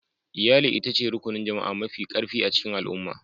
Iyali ita ce Rukunin Jama'a Mafi Karfi a cikin Al'umma.